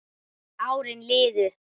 Árin liðu.